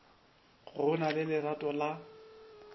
go na le lerato la